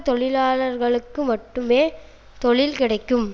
தொழிலாளர்களுக்கு மட்டுமே தொழில் கிடைக்கும்